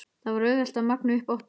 Það er auðvelt að magna upp óttann.